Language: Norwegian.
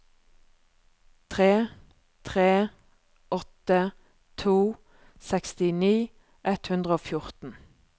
tre tre åtte to sekstini ett hundre og fjorten